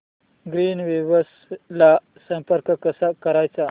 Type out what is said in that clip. Greenwaves ला संपर्क कसा करायचा